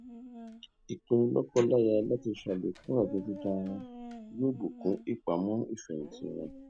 ìpinnu lọkọláya láti ṣàlékún àjọ dídá wọn yóò bùkún ìpamọ ìfẹhìntì wọn